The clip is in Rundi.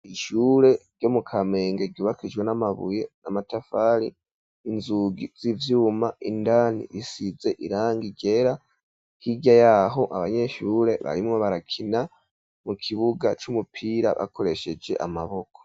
Ishure ryo mu kamenge ryubakishijwe n'amabuye n'amatafari inzugi z'ivyuma indani risize irangi ryera hirya yaho abanyeshure barimwo barakina mu kibuga c'umupira bakoresheje amaboko.